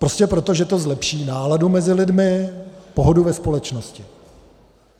Prostě proto, že to zlepší náladu mezi lidmi, pohodu ve společnosti.